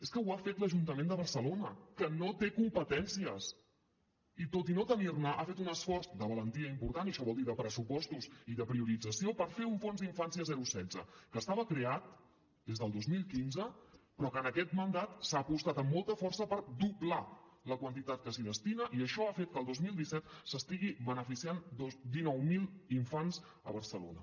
és que ho ha fet l’ajuntament de barcelona que no té competències i tot i no tenir ne ha fet un esforç de valentia important i això vol dir de pressupostos i de priorització per fer un fons d’infància zero setze que estava creat des del dos mil quinze però que en aquest mandat s’ha apostat amb molta força per doblar la quantitat que s’hi destina i això ha fet que el dos mil disset se n’estiguin beneficiant dinou mil infants a barcelona